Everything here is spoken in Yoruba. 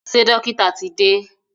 Ṣé dọ́kítà ti dé?